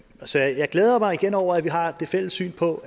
så jeg glæder mig igen over at vi har et fælles syn på